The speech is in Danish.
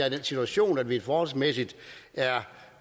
i den situation at vi forholdsmæssigt er